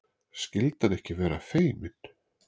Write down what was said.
Skyldi hann ekki vera feiminn?